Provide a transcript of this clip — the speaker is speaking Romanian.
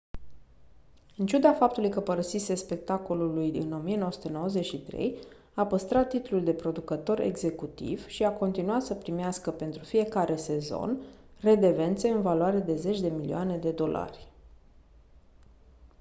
în ciuda faptului că părăsise spectacolului în 1993 a păstrat titlul de producător executiv și a continuat să primească pentru fiecare sezon redevențe în valoare de zeci de milioane de dolari